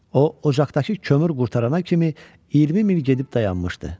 O ocaqdakı kömür qurtarana kimi 20 mil gedib dayanmışdı.